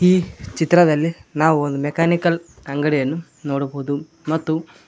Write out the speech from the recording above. ಈ ಚಿತ್ರದಲ್ಲಿ ನಾವು ಒಂದು ಮೆಕಾನಿಕಲ್ ಅಂಗಡಿಯನ್ನು ನೋಡಬಹುದು ಮತ್ತು--